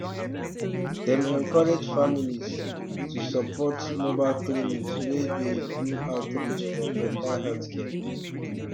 dem encourage families um to support mobile clinics wey dey do outreach for better healthcare